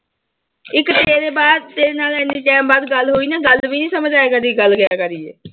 ਇੱਕ ਤੇਰੇ ਬਾਅਦ ਤੇਰੇ ਨਾਲ ਇੰਨੇ time ਬਾਅਦ ਗੱਲ ਹੋਈ ਨਾ ਗੱਲ ਵੀ ਨੀ ਸਮਝ ਆਇਆ ਕਰਦੀ ਗੱਲ ਕਿਆ ਕਰੀ ਹੈ।